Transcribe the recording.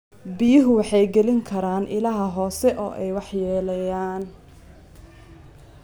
Biyuhu waxay geli karaan ilaha hoose oo ay waxyeeleeyaan.